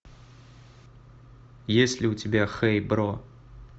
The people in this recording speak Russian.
есть ли у тебя хэй бро